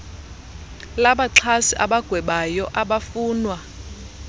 labaxhasi abagwebayo abafunwa